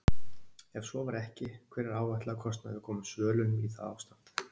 Ef svo var ekki, hver er áætlaður kostnaður við að koma svölunum í það ástand?